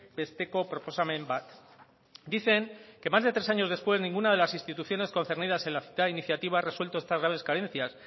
besteko proposamen bat dicen que más de tres años después ninguna de las instituciones concernidas en la citada iniciativa ha resuelto estas graves carencias